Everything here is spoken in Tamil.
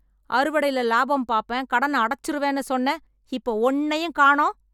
அறுவடைல லாபம் பாப்பேன், கடன அடைச்சுறுவேன்னு சொன்ன, இப்ப ஒண்ணையும் காணோம்?